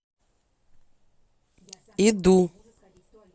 иду